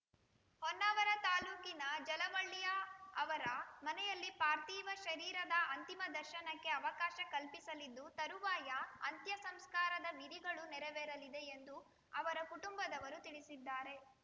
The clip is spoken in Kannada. ಹೊನ್ನಾವರ ತಾಲೂಕಿನ ಜಲವಳ್ಳಿಯ ಅವರ ಮನೆಯಲ್ಲಿ ಪಾರ್ಥಿವ ಶರೀರದ ಅಂತಿಮ ದರ್ಶನಕ್ಕೆ ಅವಕಾಶ ಕಲ್ಪಿಸಲಿದ್ದು ತರುವಾಯ ಅಂತ್ಯಸಂಸ್ಕಾರದ ವಿಧಿಗಳು ನೆರವೇರಲಿದೆ ಎಂದು ಅವರ ಕುಟುಂಬದವರು ತಿಳಿಸಿದ್ದಾರೆ